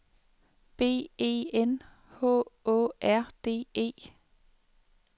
B E N H Å R D E